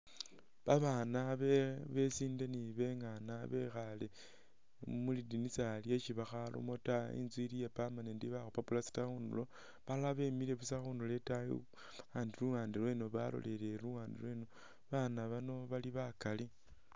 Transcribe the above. Babaana besinde ni bengaana bekhaale mu lidinisa lyesi bakharamo ta. Inzu ili iya permanent bakhupa plaster khunulo, balala bemile busa khunulo itaayi babandi luwande lwe balolelele luwande lweno. Babaana bano bali bakali.